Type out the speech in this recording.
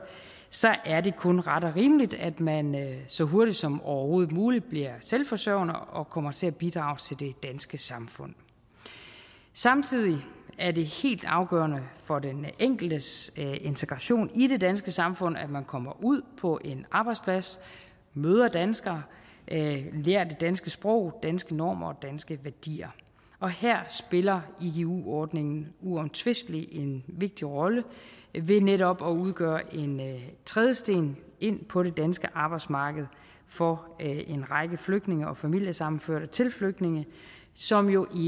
så er det kun ret og rimeligt at man så hurtigt som overhovedet muligt bliver selvforsørgende og kommer til at bidrage til det danske samfund samtidig er det helt afgørende for den enkeltes integration i det danske samfund at man kommer ud på en arbejdsplads møder danskere lærer det danske sprog danske normer og danske værdier og her spiller igu ordningen uomtvisteligt en vigtig rolle ved netop at udgøre en trædesten ind på det danske arbejdsmarked for en række flygtninge og familiesammenførte til flygtninge som jo